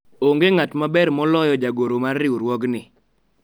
onge ng'at maber moloyo jagoro mar riwruogni